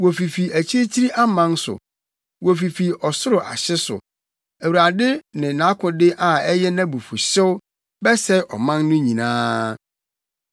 Wofifi akyirikyiri aman so, wofifi ɔsoro ahye so, Awurade ne nʼakode a ɛyɛ nʼabufuwhyew; bɛsɛe ɔman no nyinaa.